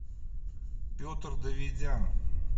петр давидян